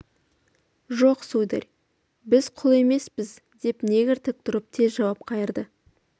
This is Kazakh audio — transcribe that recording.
жоқ сударь біз құл емеспіз деп негр тік тұрып тез жауап қайырды